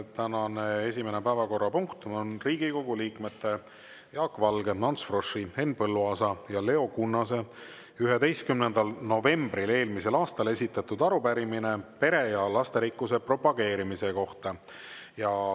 Tänane esimene päevakorrapunkt on Riigikogu liikmete Jaak Valge, Ants Froschi, Henn Põlluaasa ja Leo Kunnase 11. novembril eelmisel aastal esitatud arupärimine pere ja lasterikkuse propageerimise kohta.